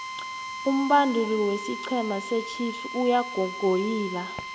umbanduli wesiqhema sechiefs uyagogoyila